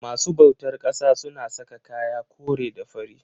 masu bautar ƙasa suna saka kaya kore da fari.